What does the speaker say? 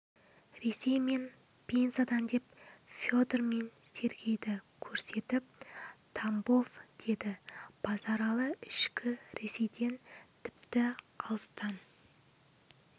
ресей мен пензадан деп федор мен сергейді көрсетіп тамбов деді базаралы ішкі ресейден тіпті алыстан